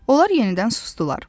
Onlar yenidən susdular.